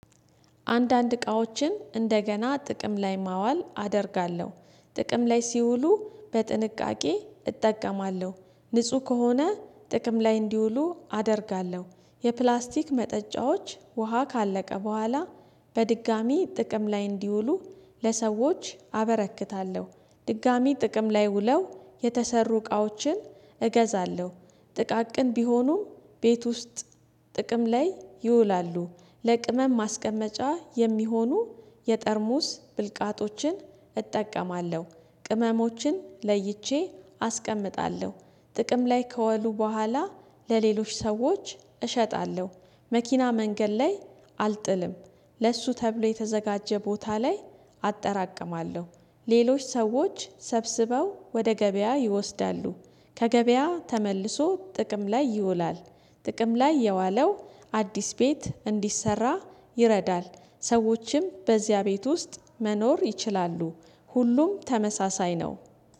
አንዳንድ እቃዎችን እንደገና ጥቅም ላይ ማዋል አደርጋለሁ ጥቅም ላይ ሲውሉ በጥንቃቄ እጠቀማለሁ ንጹህ ከሆነ ጥቅም ላይ እንዲውሉ አደርጋለሁ የፕላስቲክ መጠጫዎች ውሃ ካለቀ በኋላ በድጋሚ ጥቅም ላይ እንዲውሉ ለሰዎች አበረክታለሁ። ድጋሚ ጥቅም ላይ ውለው የተሰሩ እቃዎችን እገዛለሁ። ጥቃቅን ቢሆኑም ቤት ውስጥ ጥቅም ላይ ይውላሉ ለቅመም ማስቀመጫ የሚሆኑ የጠርሙዝ ብልቃጦችን እጠቀማለሁ። ቅመሞችን ለይቼ አስቀምጣለሁ ጥቅም ላይ ከወሉ በኋላ ለሌሎች ሰዎች እሸጣለሁ። መኪና መንገድ ላይ አልጥልም። ለሱ ተብሎ የተዘጋጀ ቦታ ላይ አጠራቅማለሁ። ሌሎች ሰዎች ሰብስበው ወደ ገበያ ይወስዳሉ። ከገበያ ተመልሶ ጥቅም ላይ ይውላል። ጥቅም ላይ የዋለው አዲስ ቤት እንዲሰራ ይረዳል። ሰዎችም በዚያ ቤት ውስጥ መኖር ይችላሉ። ሁሉም ተመሳሳይ ነው።